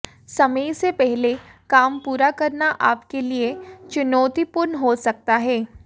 समय से पहले काम पूरा करना आपके लिए चुनौतिपूर्ण हो सकता है